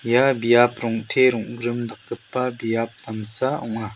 ia biap rong·te rong·grim dakgipa biap damsa ong·a.